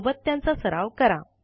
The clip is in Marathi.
सोबत त्यांचा सराव करा